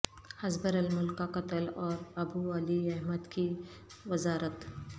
ہزبر الملک کا قتل اور ابو علی احمد کی وزارت